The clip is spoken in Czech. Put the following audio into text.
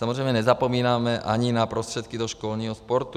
Samozřejmě nezapomínáme ani na prostředky do školního sportu.